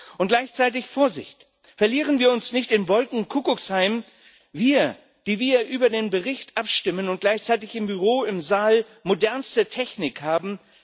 Und gleichzeitig, Vorsicht Verlieren wir uns nicht im Wolkenkuckucksheim, wir, die wir über den Bericht abstimmen und gleichzeitig im Büro, im Saal modernste Technik haben!